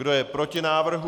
Kdo je proti návrhu?